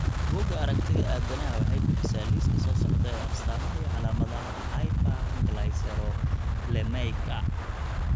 Bugaa aragtida aDdanaha waxay bixisaa liiska soo socda ee astamaha iyo calaamadaha hyperglycerolemiaka.